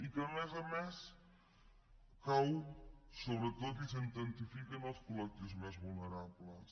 i que a més a més cau sobretot i s’intensifica en els col·lectius més vulnerables